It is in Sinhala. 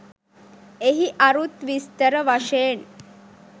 එහි අරුත් විස්තර වශයෙන්